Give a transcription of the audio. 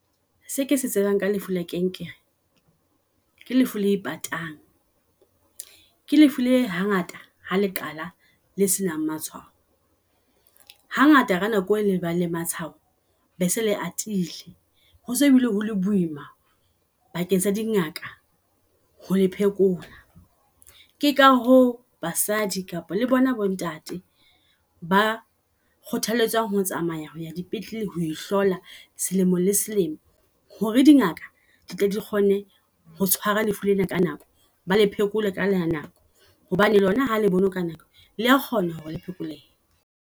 Seke se tsebang ka lefu la kanker ke lefu le patang. Ke lefu le hangata ha leqala le se nang matshwao. Hangata ka nako e le bang le matshwao bese le atile. Ho se bile hole boima bakeng sa dingaka ho phekola. Keka hoo basadi kapa le bona bo ntate ba kgothalletswa ho tsamaya dipetlele ho hlola selemo le selemo. Hore dingaka di tle di kgone ho tshwara lefu lena ka nako ba le phekole ka la nako hobane lona hale bona ka nako lea kgona hore le phekolehe.